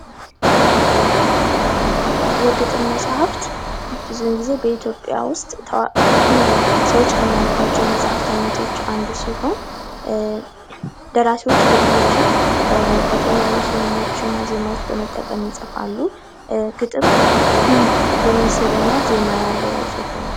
የግጥም መጻፍት ብዙ ጊዜ በኢትዮጵያ ውስጥ ታዋቂ ሰዎች ከሚያነቡዋቸው መጽሐፍቶች መካከል አንዱ ሲሆን ደራሲው በተለያዩ ስንኞችና ዜማዎች በመጠቀም ይጽፋሉ። ግጥም የሚስብና ዜማ ያለው የጽሑፍ አይነት ነው።